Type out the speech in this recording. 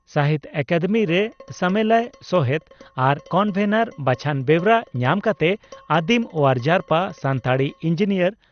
ᱥᱟᱦᱤᱛᱭᱚ ᱟᱠᱟᱫᱮᱢᱤᱨᱮ ᱥᱟᱢᱮᱞᱟᱭ ᱥᱚᱦᱮᱛ ᱟᱨ ᱠᱚᱱᱵᱷᱮᱱᱚᱨ ᱵᱟᱪᱷᱚᱱ ᱵᱮᱣᱨᱟ ᱧᱟᱢ ᱠᱟᱛᱮ ᱟᱹᱫᱤᱢ ᱚᱣᱟᱨ ᱡᱟᱨᱯᱟ ᱥᱟᱱᱛᱟᱲᱤ ᱤᱧᱡᱤᱱᱤᱭᱟᱨ